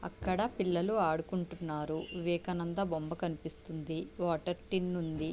అక్కడ పిల్లలు ఆడుకుంటున్నారు. వివేకానంద బొమ్మ కనిపిస్తుంది. వాటర్ టిన్ను ఉంది.